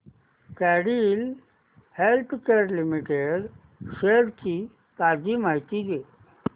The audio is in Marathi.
कॅडीला हेल्थकेयर लिमिटेड शेअर्स ची ताजी माहिती दे